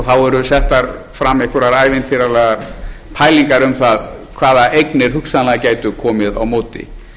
eru settar fram einhverjar ævintýralegar pælingar um það hvaða eignir hugsanlega gætu komið á móti